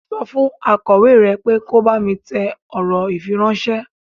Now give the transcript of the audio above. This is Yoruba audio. Sọ fún akọ̀wé ẹ pé kò bá mi tẹ ọ̀rọ̀ ifíráńṣẹ́.